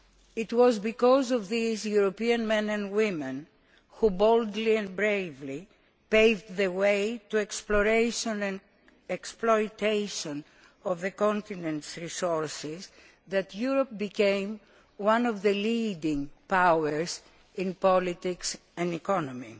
It was because of those European men and women who boldly and bravely paved the way for the exploration and exploitation of the continent's resources that Europe became one of the leading powers in politics and economy.